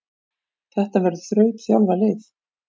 Þetta verður þrautþjálfað lið.